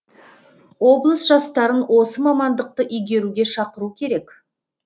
облыс жастарын осы мамандықты игеруге шақыру керек